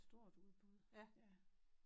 Stort udbud ja